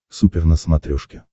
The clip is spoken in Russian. супер на смотрешке